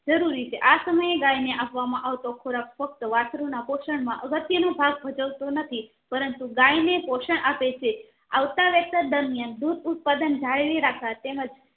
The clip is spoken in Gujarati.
જરૂરી છે આ સમય ગાય ને આપવા માં આવતો ખોરાક ફક્ત વસ્ત્રુ ના પોષણ માં અગત્ય નો ભાગ ભજવ તો નથી પરંતુ ગાય ને પોષણ આપે છે આવતા વેંત દર્મિયાન ઉત્પાદન જાળવી રાખવા તેમજ